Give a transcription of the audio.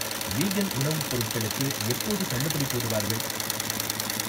Vegan உணவுப் பொருட்களுக்கு எப்போது தள்ளுபடி போடுவார்கள்?